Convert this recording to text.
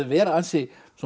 vera ansi